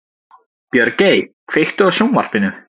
Björgey, kveiktu á sjónvarpinu.